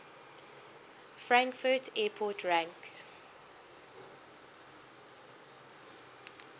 frankfurt airport ranks